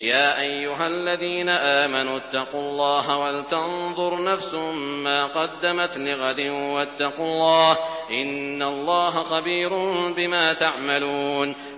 يَا أَيُّهَا الَّذِينَ آمَنُوا اتَّقُوا اللَّهَ وَلْتَنظُرْ نَفْسٌ مَّا قَدَّمَتْ لِغَدٍ ۖ وَاتَّقُوا اللَّهَ ۚ إِنَّ اللَّهَ خَبِيرٌ بِمَا تَعْمَلُونَ